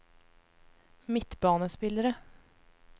midtbanespillere